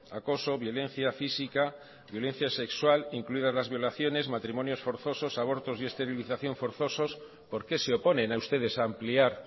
acoso violencia física violencia sexual incluidas las violaciones matrimonios forzosos abortos y esterilización forzosos por qué se oponen a ustedes a ampliar